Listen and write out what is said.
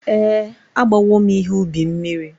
Ee, agbawo m ihe ubi mmiri.